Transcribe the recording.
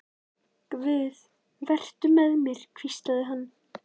Guð, vertu með mér, hvíslaði hann.